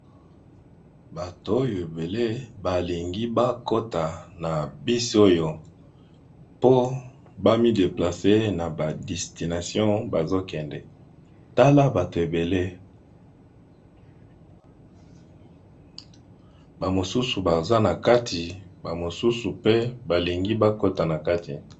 Bato oyo ebele balingi bakota na bus oyo po bami déplacer na destination bazo kende tala batu ebele ba mosusu baza nakati mosusu balingi bakota.